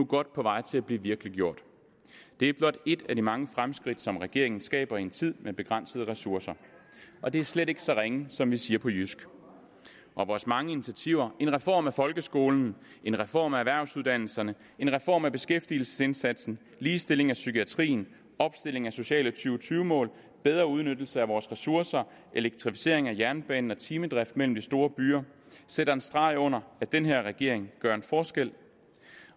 godt på vej til at blive virkeliggjort det er blot et af de mange fremskridt som regeringen skaber i en tid med begrænsede ressourcer og det er slet ikke så ringe som vi siger på jysk vores mange initiativer en reform af folkeskolen en reform af erhvervsuddannelserne en reform af beskæftigelsesindsatsen ligestilling af psykiatrien opstilling af sociale to tyve mål bedre udnyttelse af vores ressourcer elektrificering af jernbanen og timedrift mellem de store byer sætter en streg under at den her regering gør en forskel